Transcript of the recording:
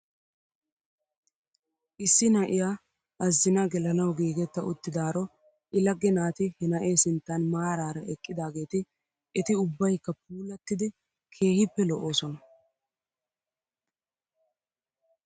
Issi na'iyaa azjnaa gelanaw giigetta uttidaaro i lagge naati he na'ee sinttan maaraara eqqidaageeti eti ubbaykka puulattidi keehippe lo'oosona .